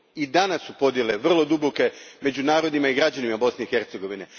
I danas su podjele vrlo duboke među narodima i građanima Bosne i Hercegovine.